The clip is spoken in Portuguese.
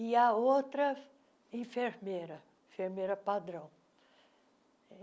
E a outra, enfermeira, enfermeira padrão.